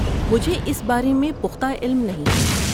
مجھے اس بارے میں پختہ علم نہیں ہے۔